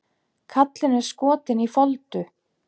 Kallinn er skotinn í Foldu.